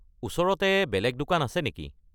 ওচৰতে বেলেগ দোকান আছে নেকি?